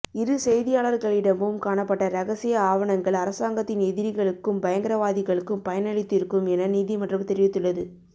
இரு செய்தியாளர்களிடமும் காணப்பட்ட இரகசிய ஆவணங்கள் அரசாங்கத்தின் எதிரிகளுக்கும் பயங்கரவாதிகளுக்கும் பயனளித்திருக்கும் எனநீதிமன்றம் தெரிவித்துள்ளது